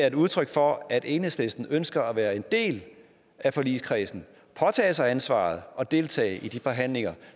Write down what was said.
et udtryk for at enhedslisten ønsker at være en del af forligskredsen påtage sig et ansvar og deltage i de forhandlinger